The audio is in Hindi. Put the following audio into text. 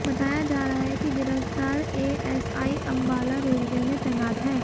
बताया जा रहा है कि गिरफ्तार एएसआई अंबाला रेलवे में तैनात है